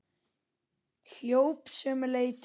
Hljóp sömu leið til baka.